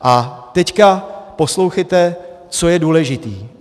A teď poslouchejte, co je důležité.